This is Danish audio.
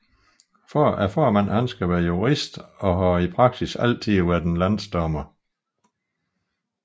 Formanden skal være jurist og har i praksis altid været en landsdommer